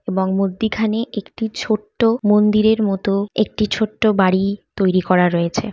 এবং মধ্যিখানে একটি ছোট্ট মন্দিরের মতো একটি ছোট্ট বাড়ি তৈরি করা রয়েছে।